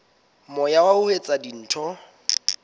moya wa ho etsa dintho